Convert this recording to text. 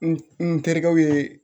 N terikɛw ye